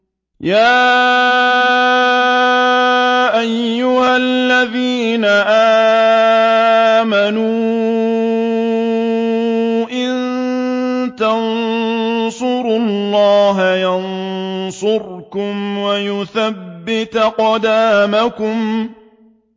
يَا أَيُّهَا الَّذِينَ آمَنُوا إِن تَنصُرُوا اللَّهَ يَنصُرْكُمْ وَيُثَبِّتْ أَقْدَامَكُمْ